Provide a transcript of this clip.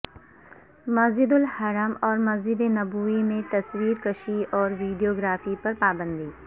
مسجدالحرام اور مسجد نبوی میں تصویر کشی اور ویڈیو گرافی پر پابندی